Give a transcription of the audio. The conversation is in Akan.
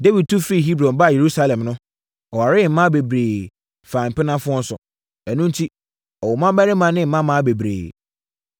Dawid tu firi Hebron baa Yerusalem no, ɔwaree mmaa bebree faa mpenafoɔ nso. Ɛno enti, ɔwoo mmammarima ne mmammaa bebree.